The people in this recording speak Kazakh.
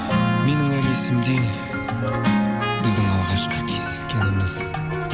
менің әлі есімде біздің алғашқы кездескеніміз